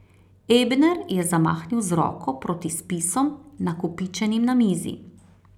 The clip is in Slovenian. Ebner je zamahnil z roko proti spisom, nakopičenim na mizi.